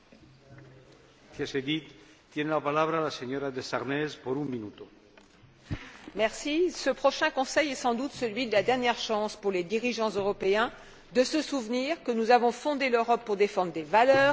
Monsieur le Président, ce prochain Conseil est sans doute celui de la dernière chance, pour les dirigeants européens, de se souvenir que nous avons fondé l'Europe pour défendre des valeurs et agir ensemble quand l'essentiel est en jeu.